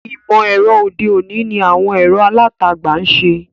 Ìmọ̀-ẹ̀rọ òde-òní ni àwọn ẹ̀rọ alátagbà ń ṣe.